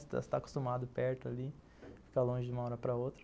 Você está acostumado perto ali, fica longe de uma hora para outra.